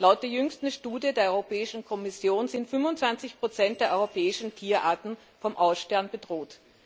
Laut der jüngsten Studie der Europäischen Kommission sind 25 der europäischen Tierarten vom Aussterben bedroht.